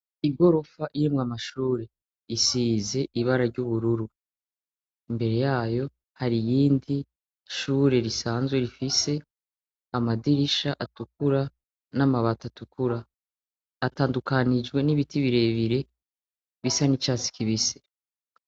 Igorofa irimwo amashure isize ibara ry'ubururu. Imbere yayo hari iyindi shure risanzwe, rifise amadirisha atukura n'amabati atukura. Atandukanijwe n'ibiti birebire bisa n'icatsi kibisi.